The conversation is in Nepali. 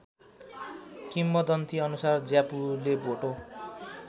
किम्वदन्तीअनुसार ज्यापुले भोटो